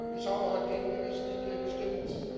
Ich habe heute gegen die Richtlinie gestimmt.